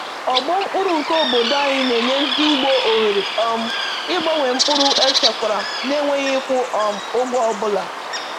Ọgbọ mkpụrụ nke obodo anyị na-enye ndị ugbo ohere um ịgbanwe mkpụrụ echekwara na-enweghị ịkwụ um ụgwọ ọ bụla.